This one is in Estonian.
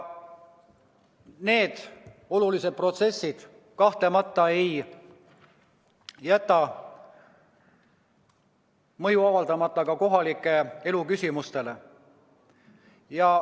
Need olulised protsessid ei jäta kahtlemata mõju avaldamata ka kohaliku elu küsimustele.